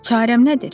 Çarəm nədir?